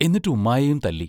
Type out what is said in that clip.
എന്നിട്ട് ഉമ്മായേയും തല്ലി.